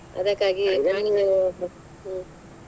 ಅದಕ್ಕಾಗಿ ಹ್ಮ್‌.